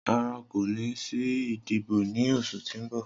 Rara, ko ni si idibo ni oṣu ti n bọ.